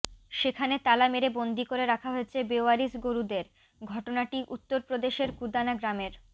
সেখানে তালা মেরে বন্দি করে রাখা হয়েছে বেওয়ারিশ গরুদের ঘটনাটি উত্তরপ্রদেশের কুদানা গ্রামের